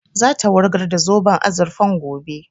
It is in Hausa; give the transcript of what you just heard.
Za ta wurgar da zoben azurfan gobe